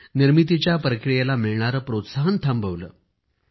निर्मितीच्या प्रक्रियेला मिळणारे प्रोत्साहनच थांबवले होते